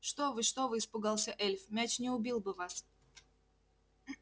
что вы что вы испугался эльф мяч не убил бы вас